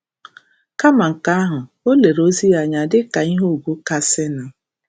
Kama nke ahụ, o lere ozi ya anya dị ka ihe ugwu kasịnụ.